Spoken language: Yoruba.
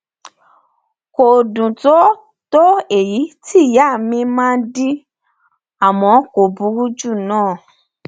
kò dùn tó èyí tó èyí tí ìyá mi máa ń dín àmọ kò burú jù náà